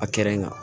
A kɛra nga